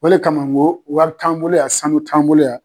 O le kama ŋo wari t'an bolo yan, sanu t'an bolo yan